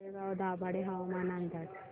तळेगाव दाभाडे हवामान अंदाज